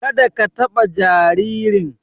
Ka da ka taɓa jaririn!